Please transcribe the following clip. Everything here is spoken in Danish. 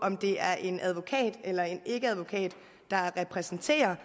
om det er en advokat eller en ikkeadvokat der repræsenterer